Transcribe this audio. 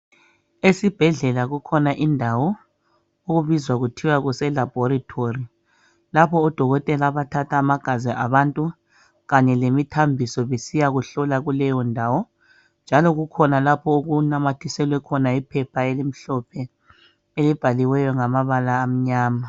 Esibhedlela kukhona indawo okubizwa kuthiwa kuselabhoretori lapho odokotela abathatha amagazi abantu kanye lemithambiso besiyakuhlola kuleyo ndawo njalo kukhona lapho okunanamathiselwe khona iphepha elimhlophe elibhaliweyo ngamabala amnyama.